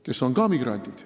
Nemad on ka migrandid.